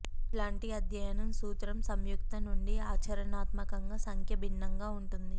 అట్లాంటి అధ్యయనం సూత్రం సంయుక్త నుండి ఆచరణాత్మకంగా సంఖ్య భిన్నంగా ఉంటుంది